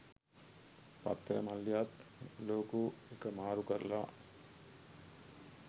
පත්තර මල්ලියාත් ලෝගෝ එක මාරු කරලා.